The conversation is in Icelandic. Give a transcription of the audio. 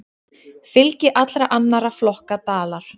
Fylgi allra annarra flokka dalar.